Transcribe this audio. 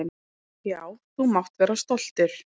Já, þú mátt vera stoltur.